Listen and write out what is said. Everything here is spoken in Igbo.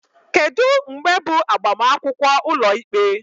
Kedu mgbe bụ agbamakwụkwọ ụlọikpe?